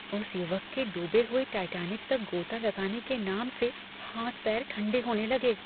उस युवक के डूबे हुए टाइटैनिक तक गोता लगाने के नाम से हाथ पैर ठंडे होने लगे।